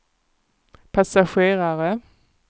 passagerare